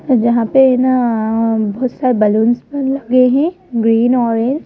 जहां पे ना बहुत सारे बैलून्स लगे हैं ग्रीन ऑरेंज ।